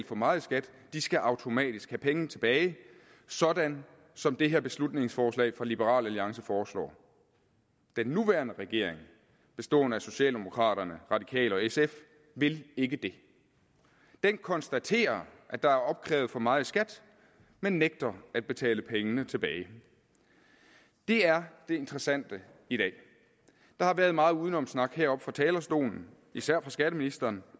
for meget i skat skal automatisk have penge tilbage sådan som det her beslutningsforslag fra liberal alliance foreslår den nuværende regering bestående af socialdemokraterne radikale og sf vil ikke det den konstaterer at der er opkrævet for meget i skat men nægter at betale pengene tilbage det er det interessante i dag der har været meget udenomssnak heroppe fra talerstolen især fra skatteministeren